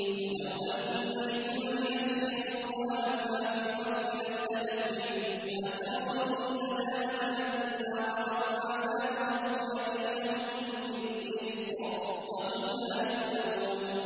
وَلَوْ أَنَّ لِكُلِّ نَفْسٍ ظَلَمَتْ مَا فِي الْأَرْضِ لَافْتَدَتْ بِهِ ۗ وَأَسَرُّوا النَّدَامَةَ لَمَّا رَأَوُا الْعَذَابَ ۖ وَقُضِيَ بَيْنَهُم بِالْقِسْطِ ۚ وَهُمْ لَا يُظْلَمُونَ